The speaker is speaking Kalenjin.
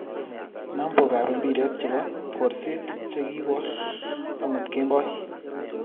Nambokab mpiret chebo borsert chegiboor amut kemboi